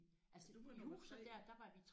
Hvis du var nummer 3